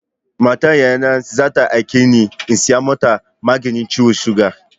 Matar Yayana za ta aike ni in saya mata maganin ciwon suga.